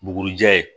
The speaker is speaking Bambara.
Bugurijɛ ye